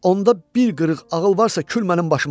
Onda bir qırıq ağıl varsa, kül mənim başıma.